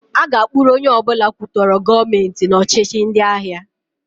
A ga-akpụrụ onye ọbụla kwutọrọ Gọọmentị n' ọchịhị ndịagha.